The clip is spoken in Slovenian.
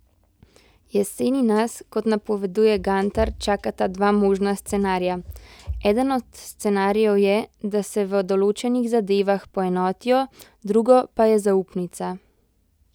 Jeseni nas, kot napoveduje Gantar, čakata dva možna scenarija: 'Eden od scenarijev je, da se v določenih zadevah poenotijo, drugo pa je zaupnica.